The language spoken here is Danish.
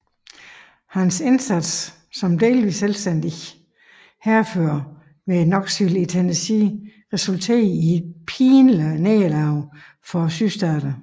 Hans indsats som delvis selvstændig hærfører ved Knoxville i Tennessee resulterede i et pinligt nederlag for Sydstaterne